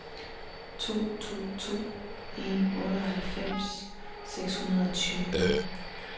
to to to en otteoghalvfems seks hundrede og tyve